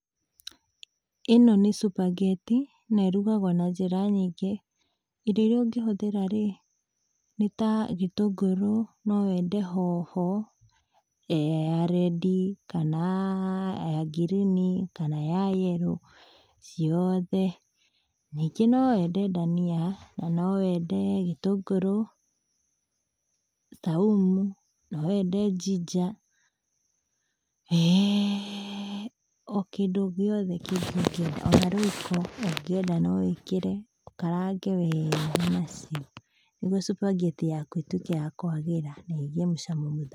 Ĩno nĩ supergheti na ĩrugagwo na njĩra nyĩngĩ. Irio ĩrĩa ũngĩhũthĩra rĩ, nĩ ta gĩtũngũrũ, no wende hoho, ya redi kana ya girini kana ya yerũ ciothe. Ningĩ no wende ndania na no wende gĩtũngũrũ, caumu, no wende jinja, o kĩndũ gĩothe kĩrĩa ũngĩenda, ona roiko ũngienda no wĩkire ũkarange wega nacio nĩguo supergheti yaku ĩtuĩke ya kwagĩra na ĩgĩe mũcamo.